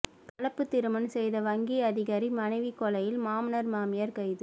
கலப்பு திருமணம் செய்த வங்கி அதிகாரி மனைவி கொலையில் மாமனார் மாமியார் கைது